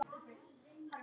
Ég sagði aldrei neitt.